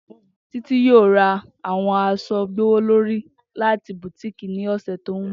Titi yoo ra awọn aṣọ gbowolori lati boutique ni ọsẹ to nbọ